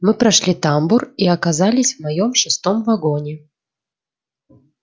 мы прошли тамбур и оказались в моем шестом вагоне